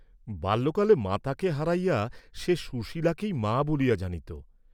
বাল্যকালে মাতাকে হারাইয়া সে সুশীলাকেই মা বলিয়া জানিত।